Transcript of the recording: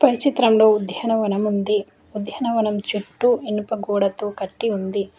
పై చిత్రంలో ఉద్యానవనము ఉంది ఉద్యానవనము చూట్టూ ఇనుప గోడతో కట్టి ఉంది.